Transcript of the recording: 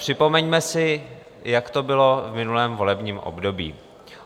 Připomeňme si, jak to bylo v minulém volebním období.